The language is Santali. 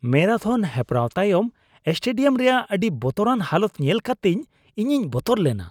ᱢᱮᱨᱟᱛᱷᱚᱱ ᱦᱮᱯᱨᱟᱣ ᱛᱟᱭᱚᱢ ᱥᱴᱮᱰᱤᱭᱟᱢ ᱨᱮᱭᱟᱜ ᱟᱹᱰᱤ ᱵᱚᱛᱚᱨᱟᱱ ᱦᱟᱞᱚᱛ ᱧᱮᱞ ᱠᱟᱛᱮ ᱤᱧᱤᱧ ᱵᱚᱛᱚᱨ ᱞᱮᱱᱟ ᱾